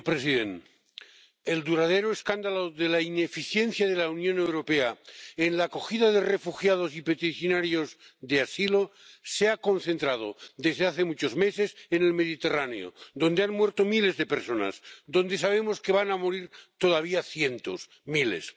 Señor presidente, el duradero escándalo de la ineficiencia de la Unión Europea en la acogida de refugiados y peticionarios de asilo se ha concentrado, desde hace muchos meses, en el Mediterráneo, donde han muerto miles de personas, donde sabemos que van a morir todavía cientos, miles.